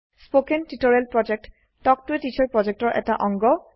spoken tutorial প্ৰকল্প talk to a teacher প্ৰকল্পৰ এটা অংগ